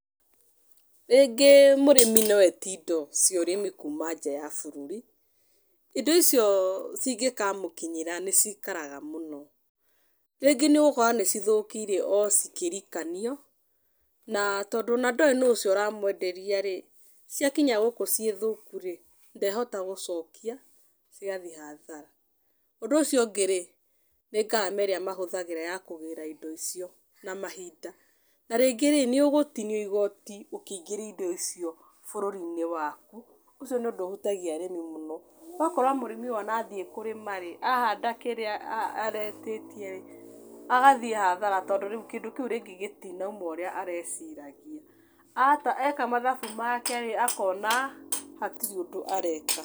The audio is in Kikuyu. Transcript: Rĩngĩ mũrĩmi no etie indo cia ũrĩmi kuuma nja ya bũrũri. Indo icio cingĩkamũkinyĩra nĩ ciikaraga mũno. Rĩngĩ nĩ ũgũkora nĩ cithũkire o cikĩrikanio, na tondũ ona ndũĩ nũũ ũcio ũramwenderia rĩ, ciakinya gũkũ ciĩ thũku rĩ, ndehota gũcokia, ni athi hathara. Ũndũ ũcio ũngĩ rĩ, nĩ ngarama ĩrĩa mahũthagĩra ya kũgĩĩra indo icio, na mahinda. Tarĩngĩ rĩ, nĩ ũgũtinio igooti ũkĩingĩria indo icio bũrũri-inĩ waku. Ũcio nĩ ũndũ ũhutagia mũno ũrĩmi. Ũgakora mũrĩmi ũyũ ona athiĩ kũrĩma rĩ, ahanda kĩrĩa aretĩtie rĩ, agathiĩ hathara tondũ kĩndũ kĩu rĩngĩ gĩtirauma ũrĩa areciria. Eka mathabu make rĩ, akona, hatirĩ ũndũ areka.